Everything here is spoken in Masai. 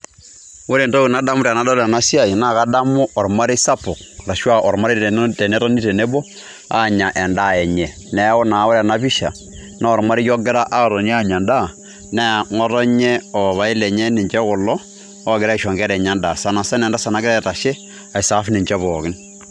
Ore entoki nadamu tenadol ena siai naa kadamu ormarei sapuk ashuu a olmarei tenetoni tenebo aanya endaa enye. Neeku naa ore pisha naa ormarei ogira atoni aanya endaa nee ngotonye o papai lenye ninje kulo ogira aisho nkera enye endaa. Sana sana entasat nagira aitashe aiserve ninje pookin.